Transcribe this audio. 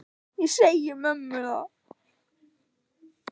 Ég segi mömmu það.